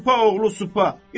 Supayoğlu supa!